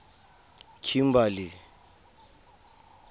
kimberley